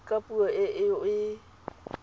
ka puo e o e